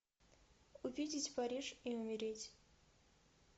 увидеть париж и умереть